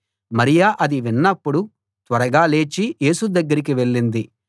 మరియ అది విన్నప్పుడు త్వరగా లేచి యేసు దగ్గరికి వెళ్ళింది